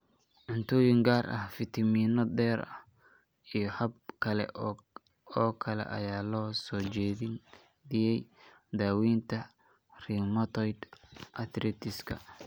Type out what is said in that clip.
Cuntooyin gaar ah, fitamiino dheeri ah, iyo habab kale oo kale ayaa loo soo jeediyay daawaynta rheumatoid arthritis-ka.